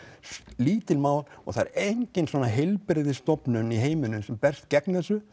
lítið mál og það er engin heilbrigðisstofnun í heiminum sem berst gegn þessu